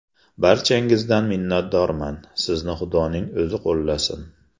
Barchangizdan minnatdorman, sizni xudoning o‘zi qo‘llasin!